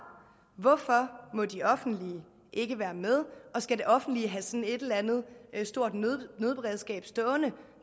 hvorfor må de offentlige ikke være med og skal det offentlige have sådan et eller andet stort nødberedskab stående